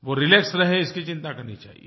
वो रिलैक्स रहे इसकी चिंता करनी चाहिये